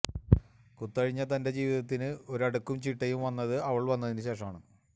കുത്തഴിഞ്ഞ തന്റെ ജീവിതത്തിന് ഒരടുക്കും ചിട്ടയും വന്നത് അവൾ വന്നതിനു ശേഷമാണ്